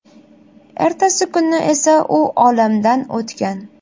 Ertasi kuni esa u olamdan o‘tgan.